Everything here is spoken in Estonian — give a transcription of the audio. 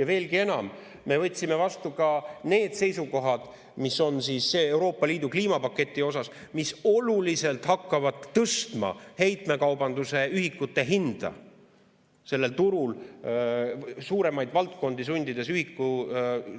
Ja veelgi enam: me võtsime vastu ka need seisukohad Euroopa Liidu kliimapaketi kohta, mis oluliselt hakkavad tõstma heitmekaubanduse ühikute hinda sellel turul, sundides suuremaid valdkondi